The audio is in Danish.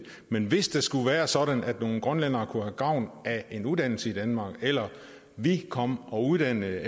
men hvis det skulle være sådan at nogle grønlændere kunne have gavn af en uddannelse i danmark eller at vi kom og uddannede